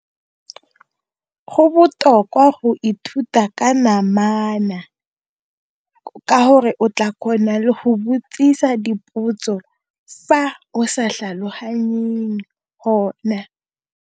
Go botoka go ithuta ka namana ka gore o tla kgona le go botsisa dipotso fa o sa tlhaloganyeng gone.